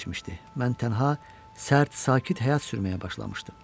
Mən tənha, sərt, sakit həyat sürməyə başlamışdım.